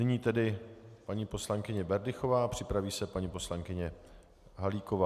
Nyní tedy paní poslankyně Berdychová, připraví se paní poslankyně Halíková.